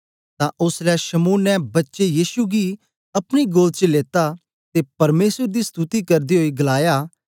तां ओसलै शमौन ने बच्चे येशु गी अपनी गोद च लेत्ता ते परमेसर दी स्तुति करदे ओई गलाया